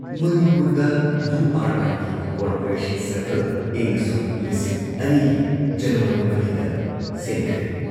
ꯃꯅꯤꯄꯨꯔꯗ U R ꯑꯥꯏꯒꯤ corporation ꯁꯔꯀꯜ ꯏꯪꯁꯣꯛ ꯂꯤꯁꯤꯡ ꯑꯅꯤ ꯒꯤ ꯖꯅꯨꯋꯥꯔꯤ ꯃꯔꯤꯗ ꯁꯦꯝꯈ꯭ꯔꯦ ꯫